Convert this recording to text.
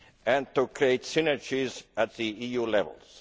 and to create synergies at the EU levels.